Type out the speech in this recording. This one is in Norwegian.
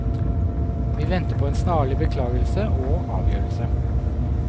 Vi venter på en snarlig beklagelse og avgjørelse.